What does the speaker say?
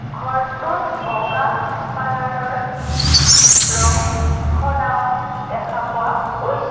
ঘৰটোত বগা কালাৰৰ ৰং সনাও দেখা পোৱা গৈছে।